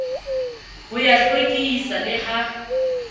ho ya hlwekisa le ha